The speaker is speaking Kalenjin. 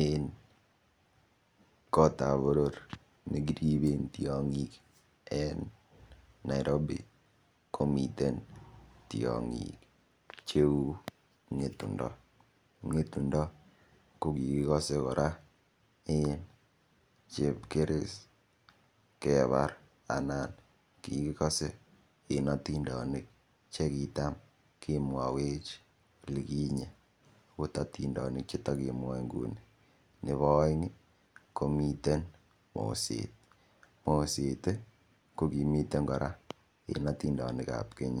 Eng kot ap boror nekiriben tiong'ik en Nairobi komiten tiong'ik cheu ng'etung'do, ng'etung'do ko kikikose kora eng chepkeris kebar anan kikikose en otindonik chekitam kemwowech lekinye akot atindonik chetokemwoe nguni nebo oeng komiten moset, moset kokimiten kora eng otindonik ap keny